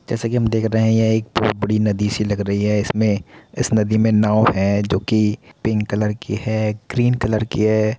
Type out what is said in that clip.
जैसा कि हम देख रहे हैं यह एक बड़ी नदी सी लग रही है। इसमें इस नदी में नाव है जोकि पिंक कलर की है। ग्रीन कलर की है।